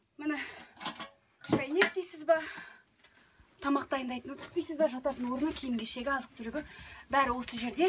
міне шәйнек дейсіз ба тамақ дайындайтын ыдыс дейсіз бе жататын орны киім кешегі азық түлігі бәрі осы жерде